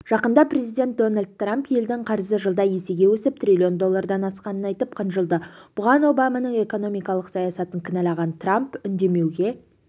жақында президент дональд трамп елдің қарызы жылда есеге өсіп триллион доллардан асқанын айтып қынжылды бұған обаманың экономикалық саясатын кінәлаған трамп үнемдеуге